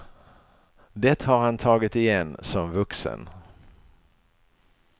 Det har han tagit igen som vuxen.